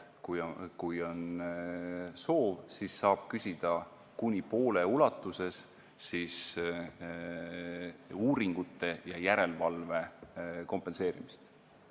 Kui on soovi, siis saab küsida kuni pooles ulatuses uuringute ja järelevalve kompenseerimist.